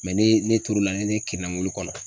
ne ne to lo la ni ne kirinna mɔbil kɔnɔ